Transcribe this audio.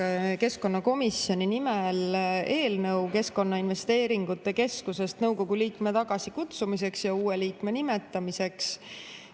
Annan keskkonnakomisjoni nimel üle eelnõu Keskkonnainvesteeringute Keskusest nõukogu liikme tagasikutsumiseks ja uue liikme nimetamiseks.